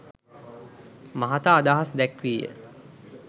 මහතා අදහස් දැක්වීය